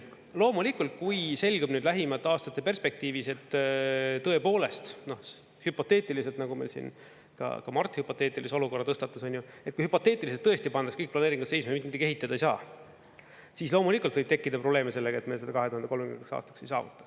Loomulikult, kui selgub nüüd lähimate aastate perspektiivis, et tõepoolest, hüpoteetiliselt, nagu meil siin ka Mart hüpoteetilise olukorra tõstatas, on ju, et kui hüpoteetiliselt tõesti pannakse kõik planeeringud seisma, mitte midagi ehitada ei saa, siis loomulikult võib tekkida probleeme sellega, et me seda 2030. aastaks ei saavuta.